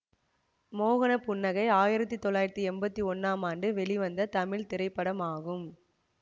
மோகனப் புன்னகை ஆயிரத்தி தொள்ளாயிரத்தி எம்பத்தி ஒண்ணாம் ஆண்டு வெளிவந்த தமிழ் திரைப்படமாகும்